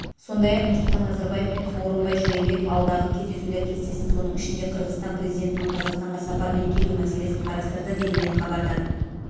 сондай-ақ нұрсұлтан назарбаев пен сооронбай жээнбеков алдағы кездесулер кестесін соның ішінде қырғызстан президентінің қазақстанға сапармен келу мәселесін қарастырды делінген хабарда